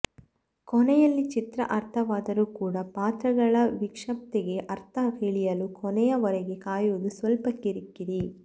ಕೊನೆಯಲ್ಲಿ ಚಿತ್ರ ಅರ್ಥವಾದರೂ ಕೂಡ ಪಾತ್ರಗಳ ವಿಕ್ಷಿಪ್ತತೆಗೆ ಅರ್ಥ ತಿಳಿಯಲು ಕೊನೆಯ ವರೆಗೆ ಕಾಯುವುದು ಸ್ವಲ್ಪ ಕಿರಿಕಿರಿ